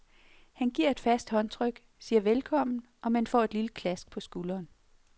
Han giver et fast håndtryk, siger velkommen, og man får et lille klask på skulderen.